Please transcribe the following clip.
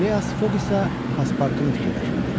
Fileas Foq isə pasportunu fikirləşirdi.